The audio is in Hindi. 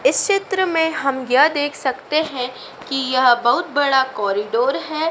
इस चित्र में हम यह देख सकते हैं कि यह बहुत बड़ा कॉरिडोर है।